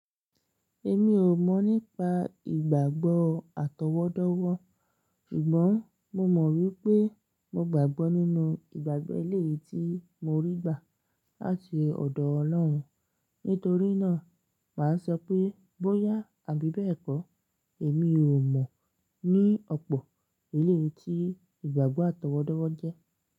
Èmi ò mọ̀ nípa ìgbàgbọ́ àtọwọ́dọ́wọ́, ṣùgbọ́n mo mọ̀ wípé mo gbàgbọ́ nínú ìgbàgbé ilé tí mo rí gbà láti ọ̀dọ̀ Ọlọ́run. Nítorí náà, màá sọ pé bóyá àbí bẹ́ẹ̀ kọ́, èmi ò mọ̀ ní ọ̀pọ̀ ilé tí ìgbàgbọ́ àtọwọ́dọ́wọ́ jẹ́.